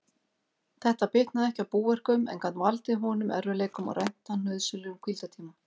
Þetta bitnaði ekki á búverkum, en gat valdið honum erfiðleikum og rænt hann nauðsynlegum hvíldartíma.